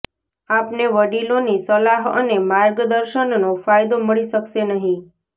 આપને વડીલોની સલાહ અને માર્ગદર્શનનો ફાયદો મળી શકશે નહી